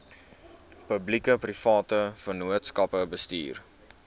publiekeprivate vennootskappe bestuur